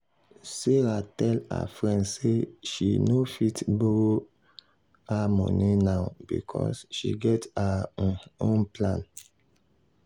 sarah tell her friend say she no fit borrow um her money now because she get her um own plan.